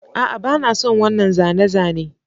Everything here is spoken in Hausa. A'a ba na son wannan zane-zane